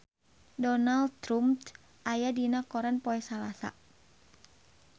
Donald Trump aya dina koran poe Salasa